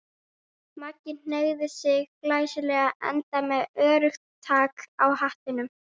Maggi hneigði sig glæsilega, enda með öruggt tak á hattinum.